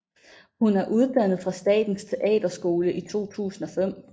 Hun er uddannet fra Statens Teaterskole i 2005